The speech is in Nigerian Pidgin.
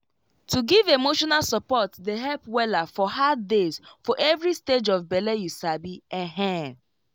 to give emotional support dey help wella for hard days for every stage of bele you sabi ehn